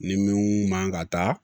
Ni min man ka taa